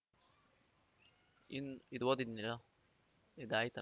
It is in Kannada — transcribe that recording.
ಇನ್ ಇದೋದಿನ್ ಇದು ಇದಾಯ್ತ